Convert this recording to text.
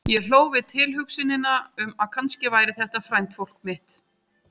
Og ég hló við tilhugsunina um að kannski væri þetta frændfólk mitt.